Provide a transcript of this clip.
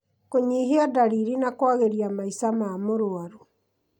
kũnyihia ndariri na kwagĩria maica ma mũrwaru